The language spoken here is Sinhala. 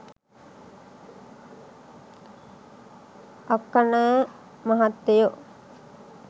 අක්කනෑ මහත්තයෝ